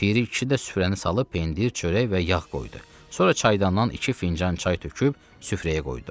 Piri kişi də süfrəni salıb pendir, çörək və yağ qoydu, sonra çaydandan iki fincan çay töküb süfrəyə qoydu.